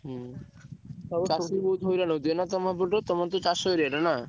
ହୁଁ ଚାଷୀ ବହୁତ ହଇରାଣ ହଉଥିବେ ନାଁ ତମ ପଟେ ତମର ତ ଚାଷ area ନାଁ?